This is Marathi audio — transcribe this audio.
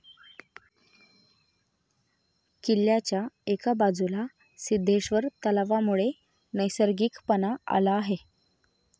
किल्ल्याच्या एका बाजूला सिद्धेश्वर तलावामुळे नैसर्गिकपणे आला आहे.